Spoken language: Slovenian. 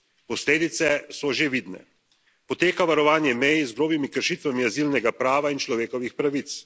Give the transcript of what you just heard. Posledice so že vidne poteka varovanje mej z grobimi kršitvami azilnega prava in človekovih pravic.